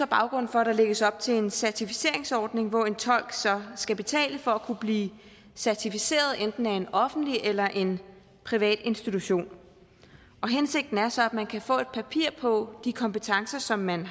baggrunden for at der lægges op til en certificeringsordning hvor en tolk så skal betale for at kunne blive certificeret af enten en offentlig eller en privat institution hensigten er så at man kan få et papir på de kompetencer som man